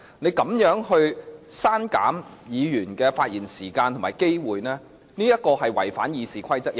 你如此刪減議員的發言時間和機會，屬違反《議事規則》之舉。